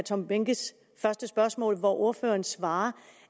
tom behnkes første spørgsmål hvor ordføreren svarer